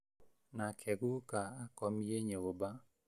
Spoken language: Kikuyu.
Nake guuka akomiĩ nyũmba